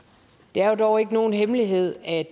det er jo dog ikke nogen hemmelighed at